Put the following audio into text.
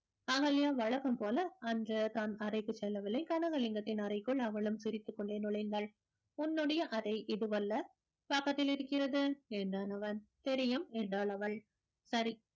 அகல்யா வழக்கம் போல அன்று தன் அறைக்குச் செல்லவில்லை கனகலிங்கத்தின் அறைக்குள் அவளும் சிரித்துக் கொண்டே நுழைந்தாள் உன்னுடைய அறை இதுவல்ல பக்கத்தில் இருக்கிறது என்றான் அவன் தெரியும் என்றாள் அவள் சரி